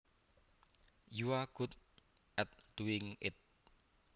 You are good at doing it